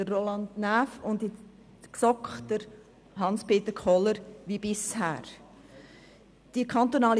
Roland Näf in die BiK und Hans-Peter Kohler wie bisher in die GSoK.